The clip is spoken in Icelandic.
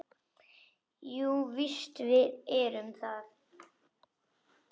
Jú, víst erum við það.